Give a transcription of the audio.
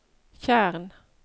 tjern